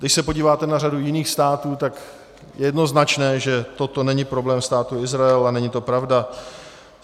Když se podíváte na řadu jiných států, tak je jednoznačné, že toto není problém Státu Izrael a není to pravda.